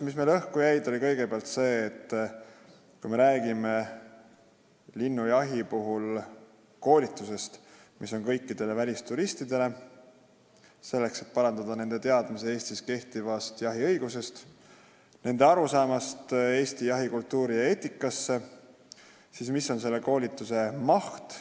Kõigepealt see, et kui me räägime linnujahi puhul koolitusest kõikidele välisturistidele, selleks et parandada nende teadmisi Eestis kehtivast jahiõigusest, nende arusaama Eesti jahikultuurist ja -eetikast, siis mis on sellise koolituse maht.